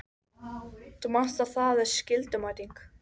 Marteinn horfði einarðlega framan í Christian sem leit fljótt undan.